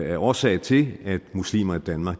er årsag til at muslimer i danmark